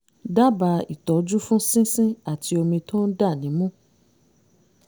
dábàá ìtọ́jú fún sínsín àti omi tó ń dà nímú